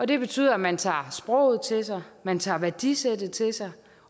det betyder at man tager sproget til sig at man tager værdisættet til sig